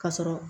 Ka sɔrɔ